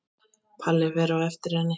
Palli fer á eftir henni.